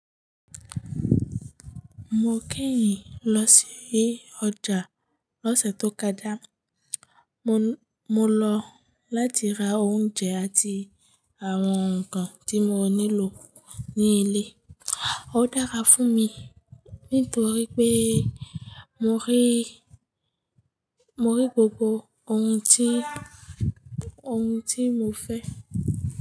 Mo kẹ́yìn lọ sí ọjà lọ́sẹ̀ tó kọjá. Mo lọ láti ra oúnjẹ àti àwọn nǹkan tí mo nílò ní ilé. Ó dára fún mi nítorí pé mo rí, mo rí gbogbo ohun tí, ohun tí mo fẹ́